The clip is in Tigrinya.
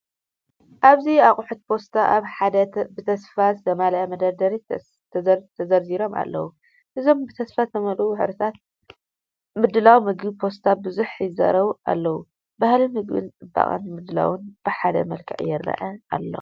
ኣብዚ ኣቑሑት ፓስታ ኣብ ሓደ ብተስፋ ዝተመልአ መደርደሪ ተዘርዚሮም ኣለዉ። እዞም ብተስፋ ዝተመልአ ሕብራዊ ምድላው ምግቢ ፓስታ ብዙሕ ይዛረብ ኣለው፤ ባህሊ ምግብን ጽባቐ ምድላውን ብሓደ መልክዕ ይረአ ኣሎ።